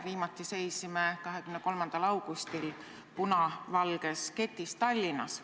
Viimati seisime 23. augustil punavalges ketis Tallinnas.